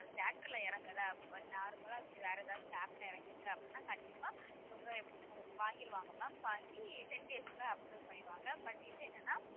அது theatre ல இறங்குல normal லா வேற ஏதாச்சு app ல இறங்கிருக்கு அப்படினா கண்டிப்பா இவங்க எப்பு~ வாங்கிருவாங்க ma'am வாங்கி ten days ல upload பண்ணிடுவாங்க but இது என்னன்னா